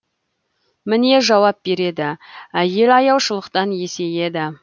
міне жауап береді әйел аяушылықтан есейеді